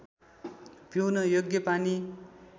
पिउन योग्य पानी